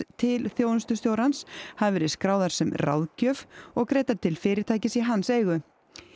til þjónustustjórans hafi verið skráðar sem ráðgjöf og greiddar til fyrirtækis í hans eigu